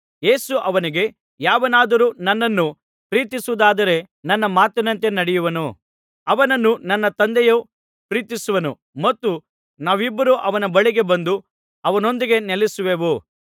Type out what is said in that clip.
ಯೇಸು ಅವನಿಗೆ ಯಾವನಾದರೂ ನನ್ನನ್ನು ಪ್ರೀತಿಸುವುದಾದರೆ ನನ್ನ ಮಾತಿನಂತೆ ನಡೆಯುವನು ಅವನನ್ನು ನನ್ನ ತಂದೆಯು ಪ್ರೀತಿಸುವನು ಮತ್ತು ನಾವಿಬ್ಬರೂ ಅವನ ಬಳಿಗೆ ಬಂದು ಅವನೊಂದಿಗೆ ನೆಲೆಸುವೆವು